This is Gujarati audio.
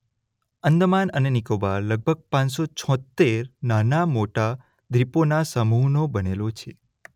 આંદામાન અને નિકોબાર લગભગ પાંચ સો છોતેર નાના મોટા દ્વીપોના સમૂહનો બનેલો છે.